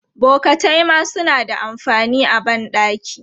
Bokatai ma suna da amfani a ban ɗaki.